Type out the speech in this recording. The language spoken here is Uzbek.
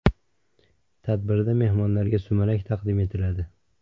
Tadbirda mehmonlarga sumalak taqdim etiladi.